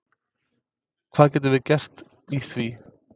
Hvað getum við gert í því?